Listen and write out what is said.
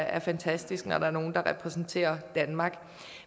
er fantastisk når nogen repræsenterer danmark